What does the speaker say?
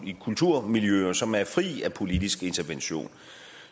i kulturmiljøer som er fri af politisk intervention